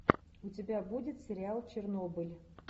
у тебя будет сериал чернобыль